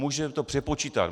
Můžeme to přepočítat.